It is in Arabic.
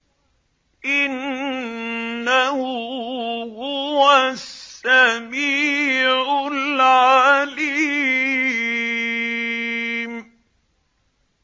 إِنَّهُ هُوَ السَّمِيعُ الْعَلِيمُ